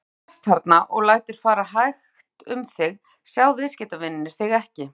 Ef þú sest þarna og lætur fara hægt um þig, sjá viðskiptavinirnir þig ekki.